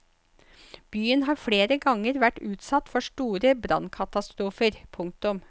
Byen har flere ganger vært utsatt for store brannkatastrofer. punktum